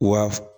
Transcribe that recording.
Wa